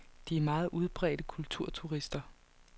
De er meget udbredte kulturturister.